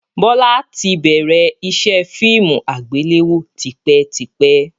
Bọlá tí bẹ̀rẹ̀ ìṣe fíìmù àgbéléwò tipẹ́tipẹ́